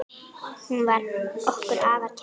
Hún var okkur afar kær.